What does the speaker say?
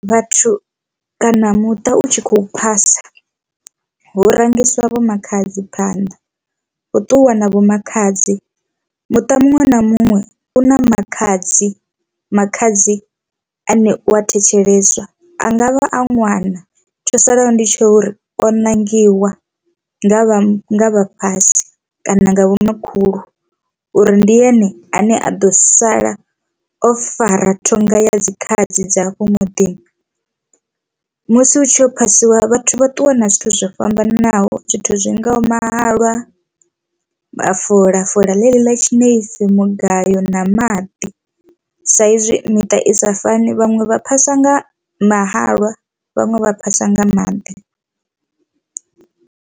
Vhathu kana muṱa u tshi khou phasa hu rangisiwa vho makhadzi phanḓa hu ṱuwiwa na vho makhadzi muṱa muṅwe na muṅwe u na makhadzi, makhadzi ane u a thetsheleswa angavha a ṅwana tsho salaho ndi tsha uri o ṋangiwa nga vha vhafhasi kana vhomakhulu uri ndi ene ane a ḓo sala o fara thonga ya dzikhaladzi dza afho muḓini. Musi hu tshi yo phasiwa vhathu vha ṱuwa na zwithu zwo fhambananaho zwithu zwingaho mahalwa, mafola fola ḽeḽi ḽa tshinefu mugayo na maḓi sa izwi miṱa i sa fani vhaṅwe vha phasa nga mahalwa vhaṅwe vha phasa nga maḓi.